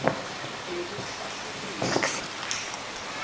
nekutfutfukiswa